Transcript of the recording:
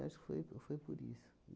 acho que foi, ou foi por isso.